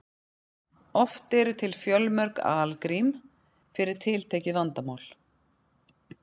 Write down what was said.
oft eru til fjölmörg algrím fyrir tiltekið vandamál